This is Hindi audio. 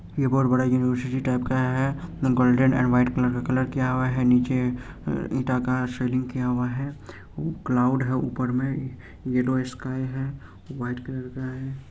यह बोर्ड बड़ा युनिवर्सिटी टाइप का है गोल्डन एन्ड वाइट कलर किया हुआ है नीचे ईटा का सीलिंग किया हुआ है उ कलौड है ऊपर में ये येल्लो स्काय है वाइट कलर है।